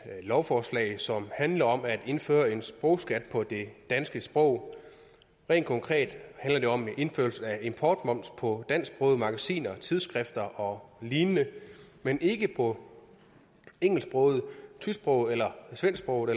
lovforslag som handler om at indføre en sprogskat på det danske sprog rent konkret handler det om indførelse af importmoms på dansksprogede magasiner tidsskrifter og lignende men ikke på engelsksprogede tysksprogede eller svensksprogede